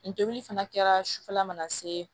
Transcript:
N tobili fana kɛra sufɛla mana se